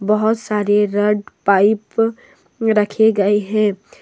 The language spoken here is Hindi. बहुत सारे रड पाइप रखी गई है।